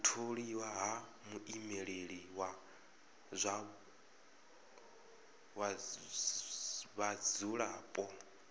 u tholiwa ha muimeleli wa vhadzulapo